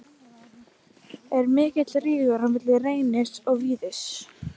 Er mikill rígur á milli Reynis og Víðis?